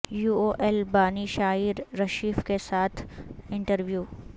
you O L بانی شائی رشیف کے ساتھ انٹرویو